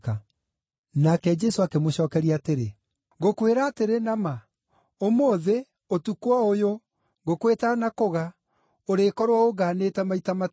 Nake Jesũ akĩmũcookeria atĩrĩ, “Ngũkwĩra atĩrĩ na ma, ũmũthĩ, ũtukũ o ũyũ ngũkũ ĩtanakũga, ũrĩkorwo ũngaanĩte maita matatũ.”